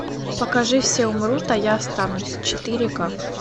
покажи все умрут а я останусь четыре ка